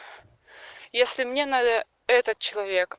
если мне надо этот человек